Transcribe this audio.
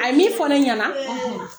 A ye min fɔ ɲɛna.